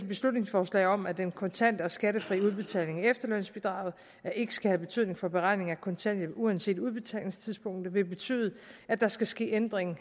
beslutningsforslag om at den kontante og skattefri udbetaling af efterlønsbidraget ikke skal have betydning for beregning af kontanthjælp uanset udbetalingstidspunktet vil betyde at der skal ske ændring